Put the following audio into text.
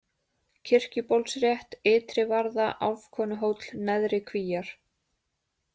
Kirkjubólsrétt, Ytrivarða, Álfkonuhóll, Neðri-Kvíar